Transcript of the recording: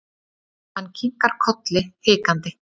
Hann kinkar kolli hikandi.